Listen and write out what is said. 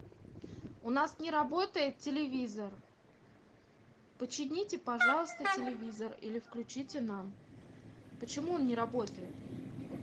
у нас не работает телевизор почините пожалуйста телевизор или включите нам почему он не работает